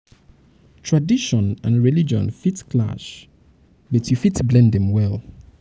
tradition and religion religion fit clash but you fit blend dem well.